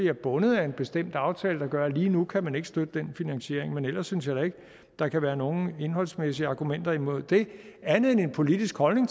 er bundet af en bestemt aftale der gør at lige nu kan man ikke støtte den finansiering men ellers synes jeg da ikke der kan være nogen indholdsmæssige argumenter mod det andet end en politisk holdning